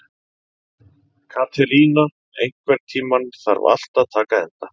Katerína, einhvern tímann þarf allt að taka enda.